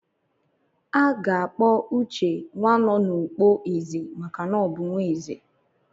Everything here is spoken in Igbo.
A ga-akpọ Uche "Nwanonukpo-ezè" maka na ọ bụ nwa ezè.